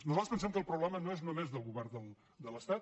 nosaltres pensem que el problema no és només del govern de l’estat